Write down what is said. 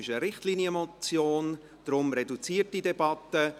Es ist eine Richtlinienmotion, deshalb reduzierte Debatte.